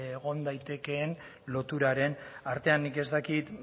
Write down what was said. egon daitekeen loturaren artean nik ez dakit